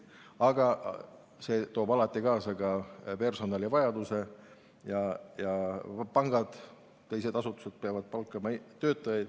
Aga see toob alati kaasa ka suurema personalivajaduse ning pangad ja teised asutused peavad palkama uusi töötajaid.